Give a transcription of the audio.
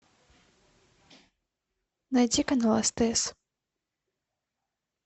найти канал стс